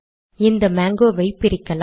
இந்த மாங்கோ வை பிரிக்கலாம்